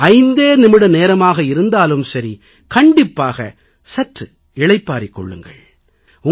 அது ஐந்தே நிமிட நேரமாக இருந்தாலும் சரி கண்டிப்பாக சற்று இளைப்பாற்றிக் கொள்ளுங்கள்